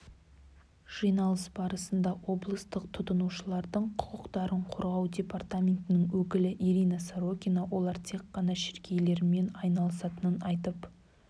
жиналыс барысында облыстық тұтынушылардың құқықтарын қорғау департаментінің өкілі ирина сорокина олар тек қана шіркейлермен айналысатынын айтып